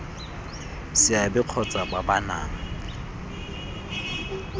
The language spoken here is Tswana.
seabe kgotsa ba ba nang